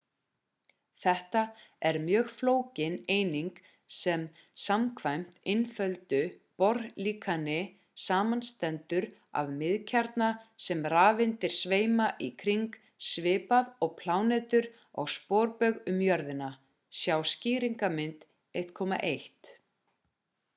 þetta er mjög flókin eining sem samkvæmt einfölduðu bohr-líkani samanstendur af miðkjarna sem rafeindir sveima í kring svipað og plánetur á sporbaug um jörðina sjá skýringarmynd 1.1